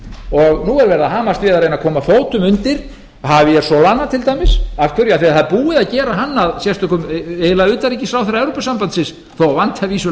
og nú er verið að hamast í að reyna að koma fótum undir hafa solana til dæmis það er búið að gera hann að eiginlega sérstökum utanríkisráðherra evrópusambandsins þó það vanti að vísu